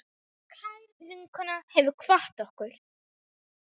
Kær vinkona hefur kvatt okkur.